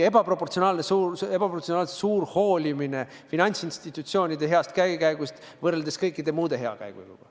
– ebaproportsionaalselt suur hoolimine finantsinstitutsioonide heast käekäigust võrreldes kõikide muude hea käekäiguga.